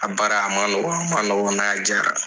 A baara a ma nɔgɔ a ma nɔgɔ nka a jiara